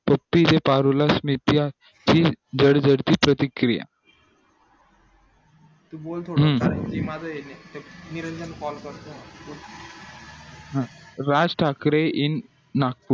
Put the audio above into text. ठीक ये पारुलास नित्या हि घर भरती प्रतिकिया हे माझं ये निरंजन call करतो ये बोल राजठाकरे in नागपूर